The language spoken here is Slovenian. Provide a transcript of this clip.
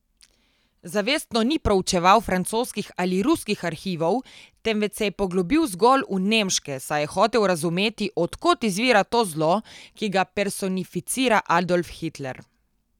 Zavestno ni proučeval francoskih ali ruskih arhivov, temveč se je poglobil zgolj v nemške, saj je hotel razumeti, od kod izvira to zlo, ki ga personificira Adolf Hitler.